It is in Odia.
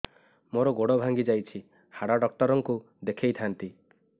ମୋର ଗୋଡ ଭାଙ୍ଗି ଯାଇଛି ହାଡ ଡକ୍ଟର ଙ୍କୁ ଦେଖେଇ ଥାନ୍ତି